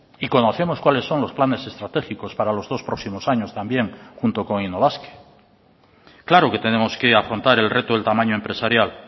y conocemos cuáles son los planes estratégicos para los dos próximos años también junto con innobasque claro que tenemos que afrontar el reto del tamaño empresarial